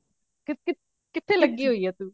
ਕੀ ਕੀ ਕਿੱਥੇ ਲੱਗੀ ਹੋਈ ਹੈ ਤੂੰ